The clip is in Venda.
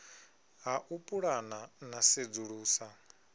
ha u pulana na sedzulusa